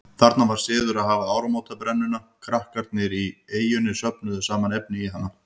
Þarna var siður að hafa áramótabrennuna, krakkarnir á eynni söfnuðu saman efni í hana.